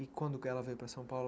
E quando que ela veio para São Paulo,